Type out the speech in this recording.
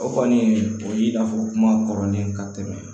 O kɔni o y'i n'a fɔ kuma kɔrɔlen ka tɛmɛ